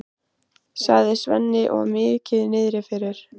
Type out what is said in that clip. sagði Svenni og var mikið niðri fyrir.